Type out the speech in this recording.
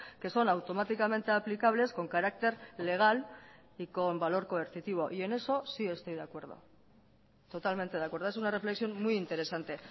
que son automáticamente aplicables con carácter legal y con valor coercitivo y en eso sí estoy de acuerdo totalmente de acuerdo es una reflexión muy interesante